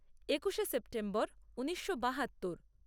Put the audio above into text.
একুশে সেপ্টেম্বর ঊনিশো বাহাত্তর